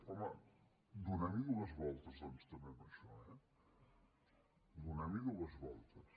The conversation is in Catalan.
home donem hi dues voltes doncs també a això eh donem hi dues voltes